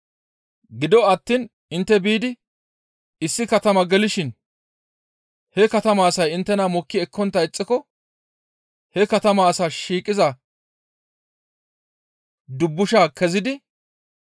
Gido attiin intte biidi issi katama gelishin he katamaa asay inttena mokki ekkontta ixxiko he katama asay shiiqiza dubbushaa kezidi,